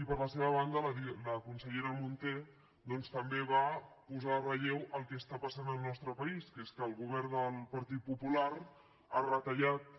i per la seva banda la consellera munté doncs també va posar en relleu el que està passant al nostre país que és que el govern del partit popular ha retallat